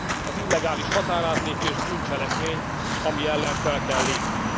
el. Az illegális határátlépés bűncselekmény, ami ellen fel kell lépni.